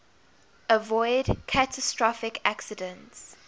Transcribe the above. avoid catastrophic accidents